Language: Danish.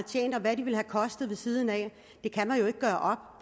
tjent og hvad de ville have kostet ved siden af det kan man jo ikke gøre